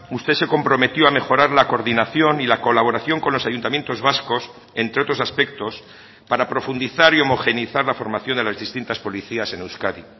usted se comprometió a mejorar la coordinación y la colaboración con los ayuntamientos vascos entre otros aspectos para profundizar y homogeneizar la formación de las distintas policías en euskadi